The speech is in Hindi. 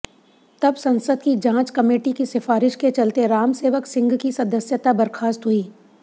तब संसद की जांच कमेटी की सिफारिश के चलते रामसेवक सिंह की सदस्यता बर्खास्त हुई